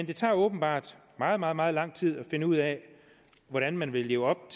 det tager åbenbart meget meget meget lang tid at finde ud af hvordan man vil leve op